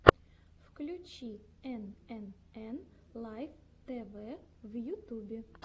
включи энэнэн лайф тэвэ в ютубе